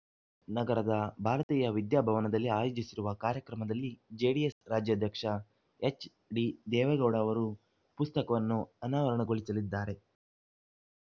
ನಗರದ ಭಾರತೀಯ ವಿದ್ಯಾಭವನದಲ್ಲಿ ಆಯೋಜಿಸಿರುವ ಕಾರ್ಯಕ್ರಮದಲ್ಲಿ ಜೆಡಿಎಸ್‌ ರಾಜ್ಯಾಧ್ಯಕ್ಷ ಎಚ್‌ಡಿದೇವೇಗೌಡ ಅವರು ಪುಸ್ತಕವನ್ನು ಅನಾವರಣಗೊಳಿಸಲಿದ್ದಾರೆ